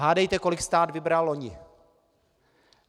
Hádejte, kolik stát vybral loni.